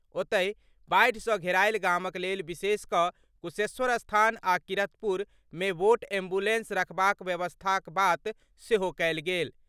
ओतहि, बाढ़ि सँ घेरायल गामक लेल विशेष कऽ कुशेश्वरस्थान आ किरतपुर मे वोट एम्बुलेंस रखबाक व्यवस्थाक बात सेहो कहल गेल।